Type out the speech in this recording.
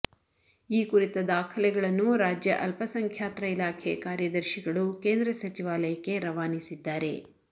ಈ ಕುರಿತ ದಾಖಲೆಗಳನ್ನು ರಾಜ್ಯ ಅಲ್ಪಸಂಖ್ಯಾತರ ಇಲಾಖೆ ಕಾರ್ಯದರ್ಶಿಗಳು ಕೇಂದ್ರ ಸಚಿವಾಲಯಕ್ಕೆ ರವಾನಿಸಿದ್ದಾರೆ